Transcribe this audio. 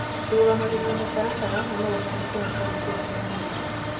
ndũrũmagĩrĩra mũtaratara na no ũhanĩke hatarĩ kĩo kĩa mwĩrĩ.